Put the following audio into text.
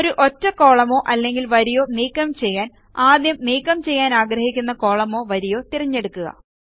ഒരു ഒറ്റ കോളമോ അല്ലെങ്കിൽ വരിയോ നീക്കം ചെയ്യാൻ ആദ്യം നീക്കം ചെയ്യാനാഗ്രഹിക്കുന്ന കോളമോ വരിയോ തിരഞ്ഞെടുക്കുക